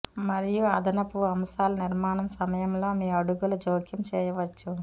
మరియు అదనపు అంశాల నిర్మాణం సమయంలో మీ అడుగుల జోక్యం చేయవచ్చు